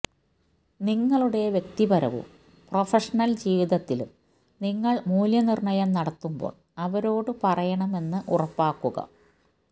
നിങ്ങളുടെ വ്യക്തിപരവും പ്രൊഫഷണൽ ജീവിതത്തിലും നിങ്ങൾ മൂല്യനിർണ്ണയം നടത്തുമ്പോൾ അവരോട് പറയണമെന്ന് ഉറപ്പാക്കുക